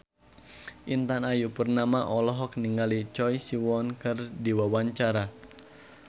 Intan Ayu Purnama olohok ningali Choi Siwon keur diwawancara